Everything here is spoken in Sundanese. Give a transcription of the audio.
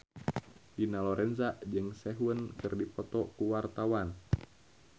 Dina Lorenza jeung Sehun keur dipoto ku wartawan